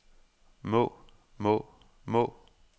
må må må